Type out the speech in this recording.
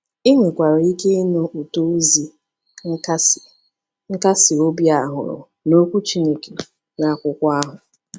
Ị nwekwara ike ịnụ ụtọ ozi nkasi nkasi obi a hụrụ n’Okwu Chineke, n’akwụkwọ ahụ.